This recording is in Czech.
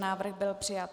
Návrh byl přijat.